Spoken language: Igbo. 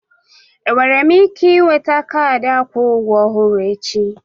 Enwere m ike nweta kaadị akwụ ụgwọ ọhụrụ echi?